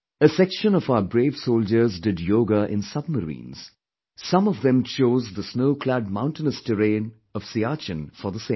A section of our brave soldiers did yoga in submarines; some of them chose the snow clad mountainous terrain of Siachen for the same